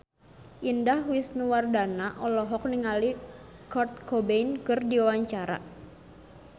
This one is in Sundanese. Indah Wisnuwardana olohok ningali Kurt Cobain keur diwawancara